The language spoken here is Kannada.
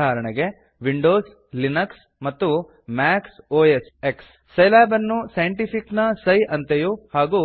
ಉದಾ ವಿಂಡೋಸ್ ಲಿನಕ್ಸ್ ಮತ್ತು ಮ್ಯಾಕ್ ಒ ಎಸ್ಎಕ್ಸ್ ಮ್ಯಾಕ್ osಎಕ್ಸ್ ಸೈಲ್ಯಾಬ್ ಅನ್ನು ಸೈಂಟಿಫಿಕ್ ನ ಸೈ ಅಂತೆಯೂ ಮತ್ತು